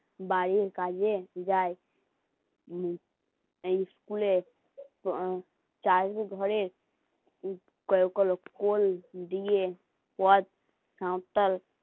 বাড়ির কাজে যাই স্কুলে চাইলে ধরে কোন দিয়ে সাঁওতাল